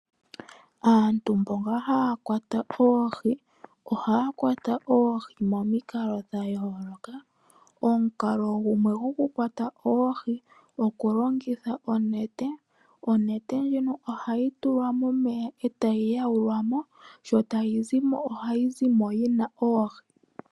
Aantu mboka haa kwata oohi, ohaya kwata oohi momikalo dha yooloka. Omukalo gumwe goku kwata oohi oku longitha onete, onete ndjono ohayi tulwa momeya e tayi yawulwa mo, sho tayi zimo ohayi zimo yi na oohi.